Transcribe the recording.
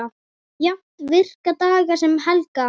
Jafnt virka daga sem helga.